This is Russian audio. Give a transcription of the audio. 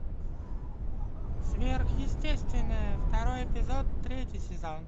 сверхъестественное второй эпизод третий сезон